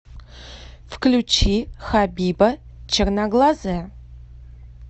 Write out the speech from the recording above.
включи хабиба черноглазая